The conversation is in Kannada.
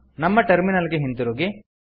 ನಮ್ಮ ಟರ್ಮಿನಲ್ ಗೆ ಹಿಂತಿರುಗಿ